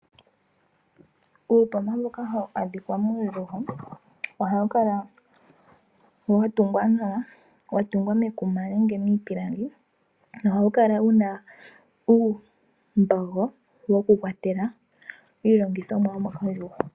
Uupomba mboka hawu adhika muundjugo ohawukala watungwa nawa, watungwa mekuma nenge miipilangi na ohawukala wuna uumbogo wokukwatela iilongithomwa yomokandjugo.